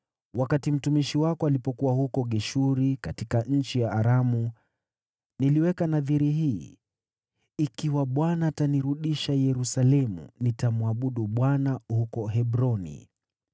Wakati mtumishi wako alipokuwa huko Geshuri katika nchi ya Aramu, niliweka nadhiri hii, ‘Ikiwa Bwana atanirudisha Yerusalemu, nitamwabudu Bwana huko Hebroni.’ ”